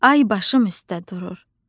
Ay başım üstdə durur.